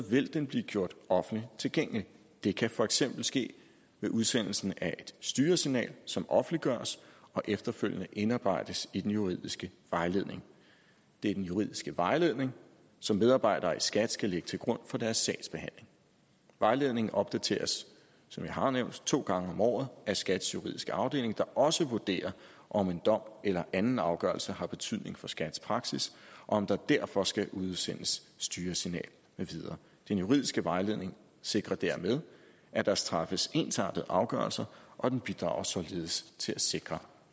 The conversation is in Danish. vil den blive gjort offentligt tilgængelig det kan for eksempel ske ved udsendelsen af et styresignal som offentliggøres og efterfølgende indarbejdes i den juridiske vejledning det er den juridiske vejledning som medarbejdere i skat skal lægge til grund for deres sagsbehandling vejledningen opdateres som jeg har nævnt to gange om året af skats juridiske afdeling der også vurderer om en dom eller anden afgørelse har betydning for skats praksis og om der derfor skal udsendes styresignal med videre den juridiske vejledning sikrer dermed at der træffes ensartede afgørelser og den bidrager således til at sikre